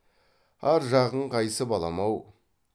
ар жағың қайсы балам ау